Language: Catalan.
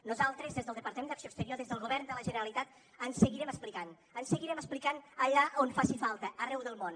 nosaltres des del departament d’acció exterior des del govern de la generalitat ens seguirem explicant ens seguirem explicant allà on faci falta arreu del món